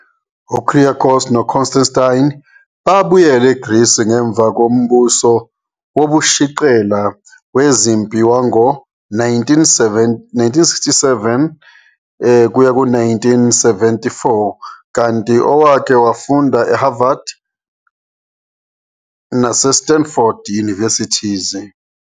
UKyriakos noConstantine babuyela eGreece ngemva kombuso wobushiqela wezempi wango-1967-1974 kanti owake wafunda e-Harvard naseSanford Universities.